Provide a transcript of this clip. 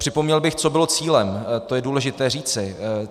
Připomněl bych, co bylo cílem, to je důležité říci.